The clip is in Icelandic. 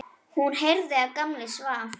Hún heyrði að Gamli svaf.